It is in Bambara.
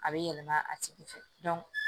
A bɛ yɛlɛma a tigi fɛ